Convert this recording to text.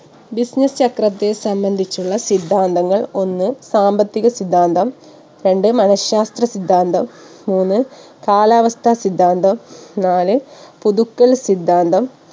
business ചക്രത്തെ സംബന്ധിച്ചുള്ള സിദ്ധാന്തങ്ങൾ ഒന്ന് സാമ്പത്തിക സിദ്ധാന്തം രണ്ട് മനഃ ശാസ്ത്ര സിദ്ധാന്തം മൂന്ന് കാലാവസ്ഥ സിദ്ധാന്തം നാല് പുതുക്കൽ സിദ്ധാന്തം